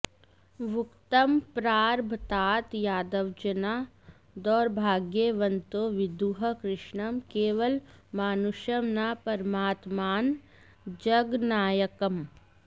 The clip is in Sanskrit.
वक्तुं प्रारभताथ यादवजना दौर्भाग्यवन्तो विदुः कृष्णं केवलमानुषं न परमात्मानं जगन्नायकम्